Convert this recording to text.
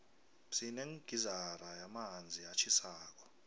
sinegizara yamanzi atjhisako